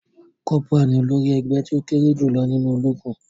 Corporal ní olórí ègbé tí o kéré jùlọ nínú ológun.